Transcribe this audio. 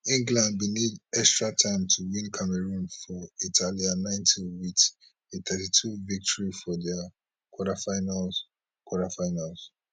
england bin need extra time to win cameroon for italia ninety wit a thirty two victory for di quarterfinals quarterfinals